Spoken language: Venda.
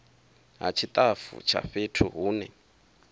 ha tshitafu tsha fhethu hune